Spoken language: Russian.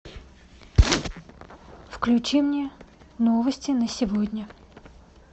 включи мне новости на сегодня